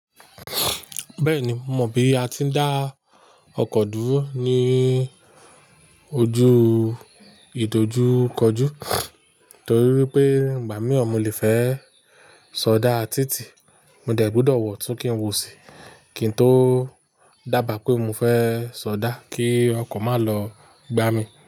Bẹ́ẹ̀ni, mo mọ̀ bí a ti ń dá ọkọ̀ dúró ní ojú ìdojúkọjú torí wipé ìgbà mìran mo lè fẹ́ ṣọdá títì, mo dẹ̀ gbúdọ̀ wọ̀ tun kí ń wò sí i kí n tó dábàá pé mo fẹ́ ṣọdá kí ọkọ̀ má lọ gbá mi.